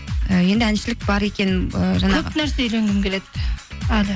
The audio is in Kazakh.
і енді әншілік бар екен ы жаңағы көп нәрсе үйренгім келеді әлі